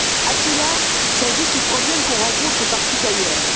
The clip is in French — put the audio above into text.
À cela s'ajoutent les problèmes qu'on rencontre partout ailleurs.